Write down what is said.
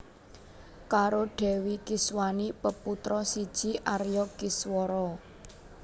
Karo Dèwi Kiswani peputra siji Arya Kiswara